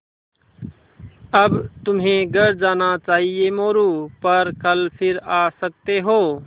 अब तुम्हें घर जाना चाहिये मोरू पर कल फिर आ सकते हो